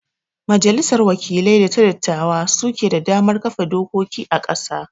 majalissar wakilai da ta dattawa su ke da damar kafa dokoki a ƙasa